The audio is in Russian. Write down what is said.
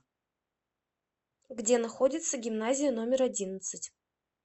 где находится гимназия номер одиннадцать